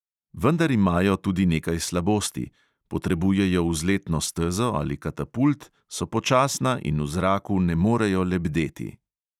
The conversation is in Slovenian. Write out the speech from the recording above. Vendar imajo tudi nekaj slabosti: potrebujejo vzletno stezo ali katapult, so počasna in v zraku ne morejo lebdeti.